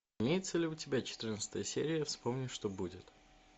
имеется ли у тебя четырнадцатая серия вспомни что будет